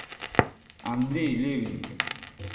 андрей левин